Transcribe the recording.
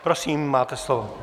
Prosím, máte slovo.